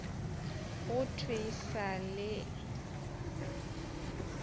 go thwe e sa le